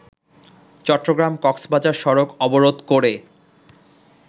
চট্টগ্রাম-কক্সবাজার সড়ক অবরোধ করে